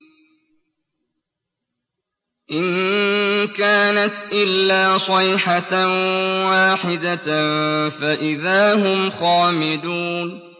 إِن كَانَتْ إِلَّا صَيْحَةً وَاحِدَةً فَإِذَا هُمْ خَامِدُونَ